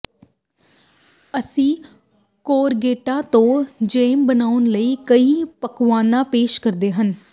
ਅਸੀਂ ਕੋਰਗੇਟਾਂ ਤੋਂ ਜੈਮ ਬਣਾਉਣ ਲਈ ਕਈ ਪਕਵਾਨਾ ਪੇਸ਼ ਕਰਦੇ ਹਾਂ